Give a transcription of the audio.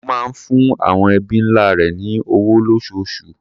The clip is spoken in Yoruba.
Ó máa ń fún àwọn ẹbí ńlá rẹ̀ ní owó lóṣooṣù.